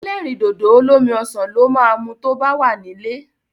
Ẹlẹ́rìndòdò olómi ọsàn lo máa mu tó bá wà nílé.